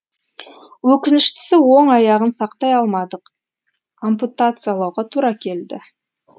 өкініштісі оң аяғын сақтай алмадық ампутациялауға тура келді